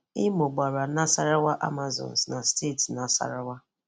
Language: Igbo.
Imo gbara Nasarawa Amazons na steeti Nasarawa